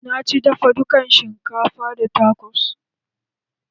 Na ci dafa dukan shinkafa da takos